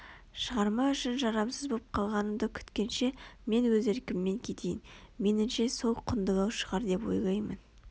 шығарма үшін жарамсыз боп қалғанымды күткенше мен өз еркіммен кетейін меніңше сол құндылау шығар деп ойлаймын